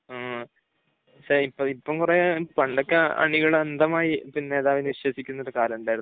ങ്‌ഹും. പക്ഷെ ഇപ്പം കുറെ, പണ്ടൊക്കെ അണികൾ അന്ധമായി നേതാവിനെ വിശ്വസിക്കുന്ന ഒരു കാലം ഉണ്ടായിരുന്നു.